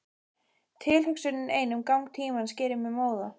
Tilhugsunin ein um gang tímans gerir mig móða.